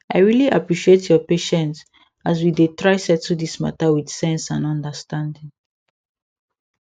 i really appreciate your patience as we dey try settle this matter with sense and understanding